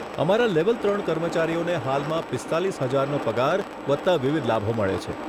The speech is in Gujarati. અમારા લેવલ ત્રણ કર્મચારીઓને હાલમાં પીસ્તાલીસ હજારનો પગાર વત્તા વિવિધ લાભો મળે છે.